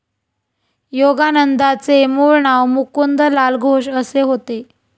योगानंदांचे मुळ नाव मुकुंदलाल घोष असे होते.